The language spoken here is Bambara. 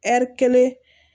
Ɛri kelen